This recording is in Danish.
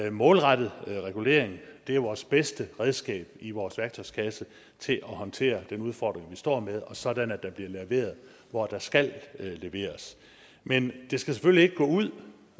en målrettet regulering er jo vores bedste redskab i vores værktøjskasse til at håndtere den udfordring vi står med og sådan at der bliver leveret hvor der skal leveres men det her skal selvfølgelig ikke gå ud